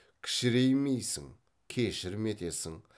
кішіреймейсің кешірім етесің